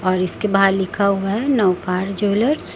और इसके बाहर लिखा हुआ है नव पार ज्वैलर्स --